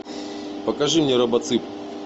покажи мне робоцып